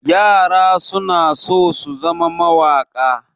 Yara suna so su zama mawaƙa.